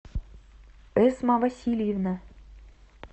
эсма васильевна